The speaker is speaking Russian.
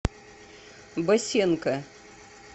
босенко